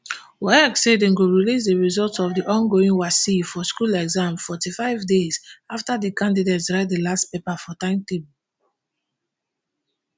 waec say dem go release di results of di ongoing wassce for school exam forty-five days afta di candidates write di last paper for timetable